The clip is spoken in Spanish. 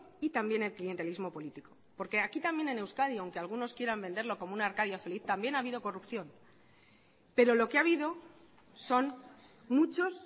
y también el clientelismo político porque aquí también en euskadi aunque algunos quieran venderlo como una arcadia feliz también ha habido corrupción pero lo que ha habido son muchos